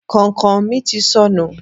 Kàìnkàìn mi ti sọnù.